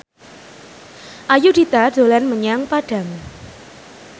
Ayudhita dolan menyang Padang